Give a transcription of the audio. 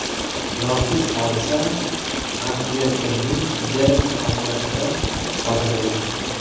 Noxush hodisa Antverpenning Dern kommunasida sodir bo‘lgan.